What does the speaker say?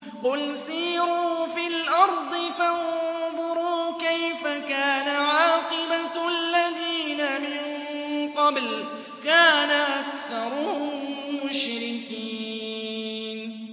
قُلْ سِيرُوا فِي الْأَرْضِ فَانظُرُوا كَيْفَ كَانَ عَاقِبَةُ الَّذِينَ مِن قَبْلُ ۚ كَانَ أَكْثَرُهُم مُّشْرِكِينَ